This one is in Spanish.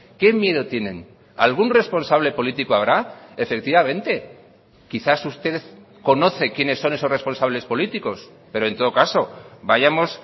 qué miedo tienen algún responsable político habrá efectivamente quizás usted conoce quienes son esos responsables políticos pero en todo caso vayamos